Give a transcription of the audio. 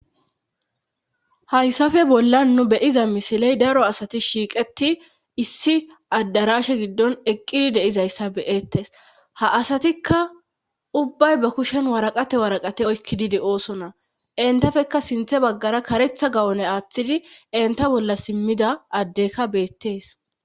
hayssafe bolla nu beyiza misiley daro asati shiiqeti issi addarashe giddon eqqidi deizayssa beettes ha asatikka ubbay ba kushen waraqate waraqate oykkidide ooso na entafeka sinthe baggara karetha gawone aaththidi enta bolla simmida addekka beettees